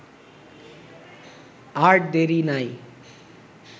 আর দেরি নাই